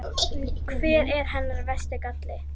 Hver er hennar versti galli?